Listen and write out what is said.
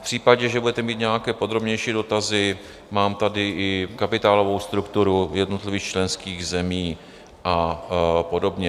V případě, že budete mít nějaké podrobnější dotazy, mám tady i kapitálovou strukturu jednotlivých členských zemí a podobně.